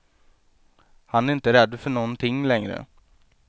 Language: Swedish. Han är inte rädd för någonting längre.